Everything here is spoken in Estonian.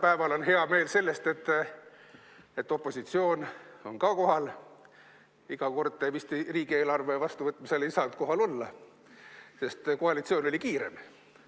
Täna on hea meel veel selle üle, et opositsioon on ka kohal – iga kord ta vist riigieelarve vastuvõtmise ajal ei saanud kohal olla, sest koalitsioon oli kiirem,